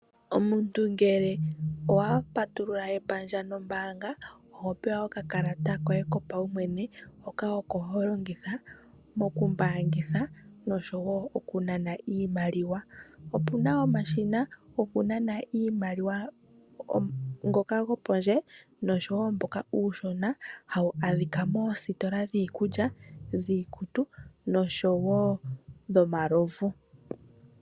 Omuntu ngele owa patulula epandja nombanga oho pewa okakalata koye ko pawumwene hoka oko ho longitha okumbangitha noshowo oku nana iimaliwa. Opu na wo omashina gokunana iimaliwa ngoka gopondje noshowo mboka uushona hawu adhika moostola dhiikulya dhiikutu noshowo dhomalovu.